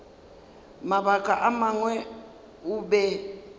mabaka a mangwe o be